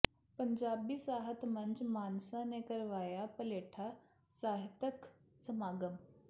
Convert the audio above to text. ਪੰਜਾਬੀ ਸਾਹਿਤ ਮੰਚ ਮਾਨਸਾ ਨੇ ਕਰਵਾਇਆ ਪਲੇਠਾ ਸਾਹਿਤਕ ਸਮਾਗਮ